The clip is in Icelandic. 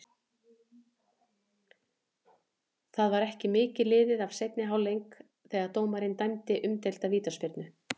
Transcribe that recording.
Það var ekki mikið liðið af seinni hálfleik þegar dómarinn dæmdi umdeilda vítaspyrnu.